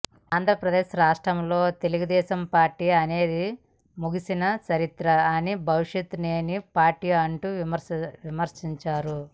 ఆంధ్రప్రదేశ్ రాష్ట్రంలో తెలుగుదేశం పార్టీ అనేది ముగిసిన చరిత్ర అని భవిష్యత్ లేని పార్టీ అంటూ విమర్శించారు